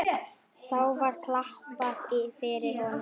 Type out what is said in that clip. Þá var klappað fyrir honum.